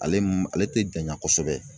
Ale m ale te janya kosɛbɛ